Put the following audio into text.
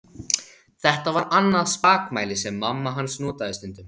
Þetta var annað spakmæli sem mamma hans notaði stundum.